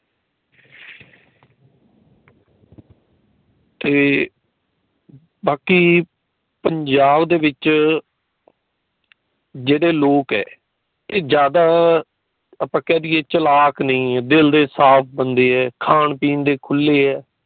ਤੇ ਬਾਕੀ ਪੰਜਾਬ ਦੇ ਵਿੱਚ ਜੇੜੇ ਲੋਕ ਹੈ ਇਹ ਜਾਂਦਾ ਆਪਾ ਕੇ ਦੀਏ ਚਲਾਕ ਨਹੀਂ ਦਿੱਲ ਦੇ ਸਾਫ਼ ਬੰਦੇ ਹੈ ਖਾਣ ਪੀਣ ਦੇ ਖੁਲੇ ਹੈ।